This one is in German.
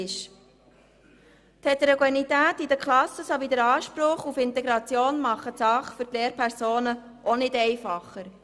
Die Heterogenität innerhalb der Klassen sowie der Anspruch auf Integration machen die Sache für die Lehrpersonen auch nicht einfacher.